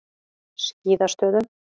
Skíðastöðum